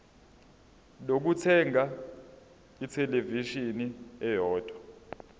lokuthenga ithelevishini eyodwa